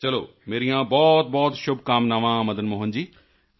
ਚਲੋ ਮੇਰੀਆਂ ਬਹੁਤਬਹੁਤ ਸ਼ੁਭਕਾਮਨਾਵਾਂ ਮਦਨ ਮੋਹਨ ਜੀ